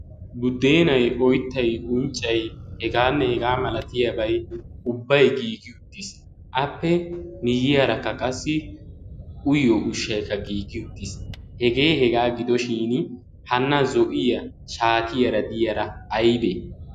guddeenay oottay unccay hegaanne hegaa malatiyaabai ubbay giigi uttiis. appe miyiyaarakka qassi uyyo ushshaikka giigi uttiis. hegee hegaa gidoshin hanna zo'iya shaatiyaara diyaara aybee?